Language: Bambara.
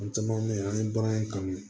O caman bɛ yen an ye bagan kanu